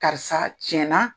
Karisa tiɲɛ na.